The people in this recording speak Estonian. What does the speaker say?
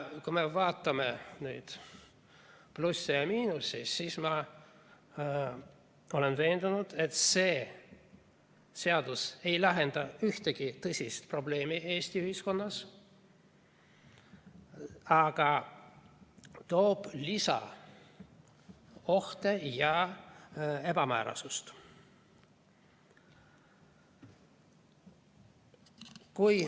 Kui me vaatame neid plusse ja miinuseid, siis ma olen veendunud, et see seadus ei lahenda ühtegi tõsist probleemi Eesti ühiskonnas, vaid toob juurde uusi ohte ja ebamäärasust.